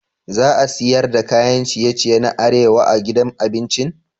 Za a siyar da kayan ciye-ciye na arewa a gidan abincin?